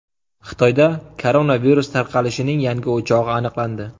Xitoyda koronavirus tarqalishining yangi o‘chog‘i aniqlandi.